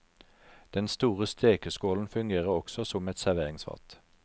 Den store stekeskålen fungerer også som et serveringsfat.